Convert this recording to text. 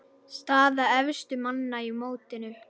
Staða efstu manna í mótinu